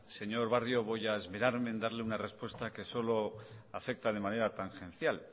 señor barrio voy a esperarme en darle una respuesta que solo afecta de manera tangencial